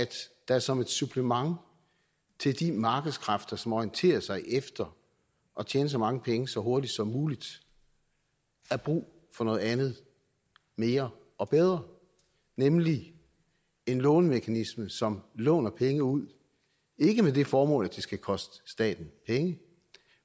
der som et supplement til de markedskræfter som orienterer sig efter at tjene så mange penge så hurtigt som muligt er brug for noget andet mere og bedre nemlig en lånemekanisme som låner penge ud ikke med det formål at det skal koste staten penge